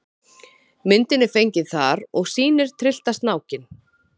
Myndin er fengin þar og sýnir tryllta snákinn.